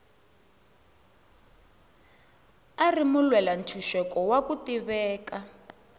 a ri mulwela ntshuxeko wa ku tiveka